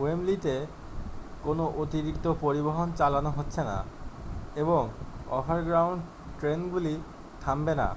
ওয়েম্বলিতে কোনও অতিরিক্ত পরিবহন চালানো হচ্ছে না এবং ওভারগ্রাউন্ড ট্রেনগুলি থামবে না